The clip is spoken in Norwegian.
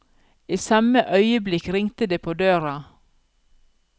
I samme øyeblikk ringte det på døra.